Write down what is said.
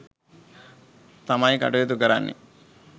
තමයි කටයුතු කරන්නේ